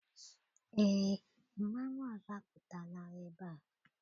Eé, mmanwụ ọzọ apụtala ebea.